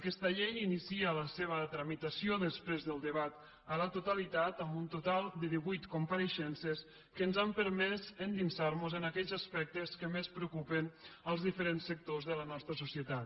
aquesta llei inicia la seva tramitació després del debat a la totalitat amb un total de divuit compareixences que ens han permès endinsar mos en aquells aspectes que més preocupen els diferents sectors de la nostra societat